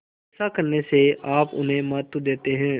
ऐसा करने से आप उन्हें महत्व देते हैं